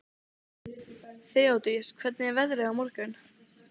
Þeódís, hvernig er veðrið á morgun?